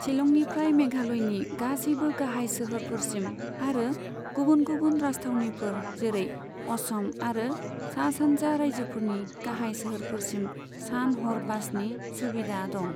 शिलंनिफ्राय मेघालयनि गासैबो गाहाय सोहोरफोरसिम आरो गुबुन गुबुन राजथावनिफोर जेरै असम आरो सा सानजा राज्योफोरनि गाहाय सोहोरफोरसिम सान हर बासनि सुबिदा दं।